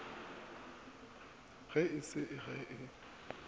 ge e se ge e